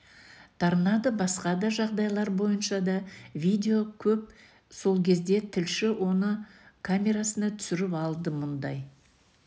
торнадо басқа да жағдайлар бойынша да видео көп сол кезде тілші оны камерасына түсіріп алды мұндай